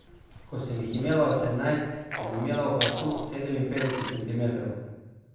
Ko sem jih imela osemnajst, sem imela v pasu sedeminpetdeset centimetrov.